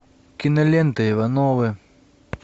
кинолента ивановы